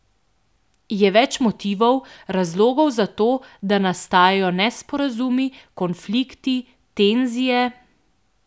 Je več motivov, razlogov za to, da nastajajo nesporazumi, konflikti, tenzije ...